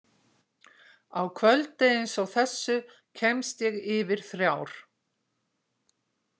Á kvöldi einsog þessu kemst ég yfir þrjár.